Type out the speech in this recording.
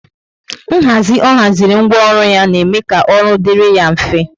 Nhazi ọ haziri ńgwọ ọrụ ya na eme ka ọrụ dịrị ya mfe